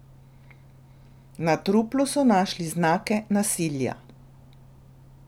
Na truplu so našli znake nasilja.